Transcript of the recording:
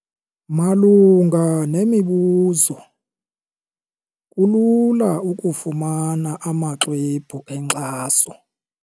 Malunga nemibuzo, kulula ukufumana amaxwebhu enkxaso.